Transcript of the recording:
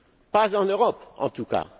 Pas en Europe, en tout cas.